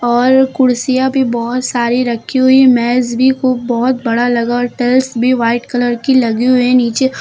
और कुर्सियां भी बहोत सारी रखी हुई मेज भी खूब बहोत बड़ा लगा और टाइल्स भी वाइट कलर की लगी हुई है नीचे।